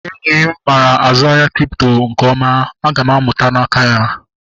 Enyi m mara azụ ahịa bitkọin a nke ọma. Aga m amụta n'aka ya